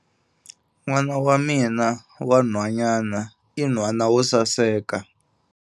N'wana wa mina wa nhwanyana i nhwana wo saseka.